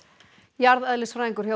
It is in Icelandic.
jarðeðlisfræðingur hjá